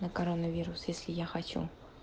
на коронавирус если я хочу